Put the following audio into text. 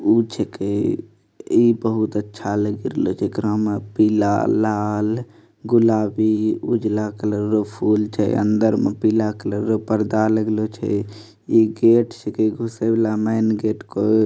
पूछ के इ बहुत अच्छा लग रहले जेकरा में लाल गुलाबी उजला कलरफुल के अंदर में पीला कलर पर्दा लगल छे इ गेट घुसे वाला मैन गेट के --